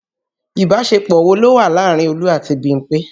Ìbásepọ̀ wo ló wà láàárín Olú àti Bímpé